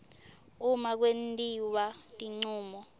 uma kwentiwa tincumo